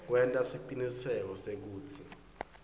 kwenta siciniseko sekutsi